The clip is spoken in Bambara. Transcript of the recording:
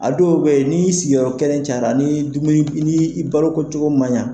A dɔw bɛ yen ni sigiyɔrɔ kelen caya, ni dumuni ni i baloko cogo man yan.